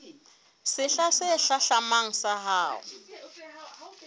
sehla se hlahlamang sa ho